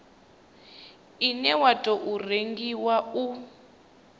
une wa tou rengiwa u